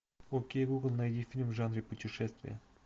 окей гугл найди фильм в жанре путешествия